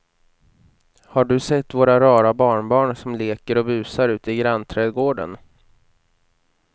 Har du sett våra rara barnbarn som leker och busar ute i grannträdgården!